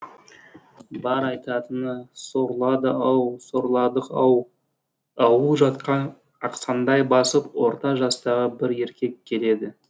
бар айтатыны сорлады ау сорладық ау ауыл жақтан ақсаңдай басып орта жастағы бір еркек келеді